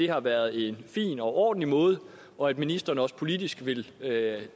har været en fin og ordentlig måde og at ministeren også politisk vil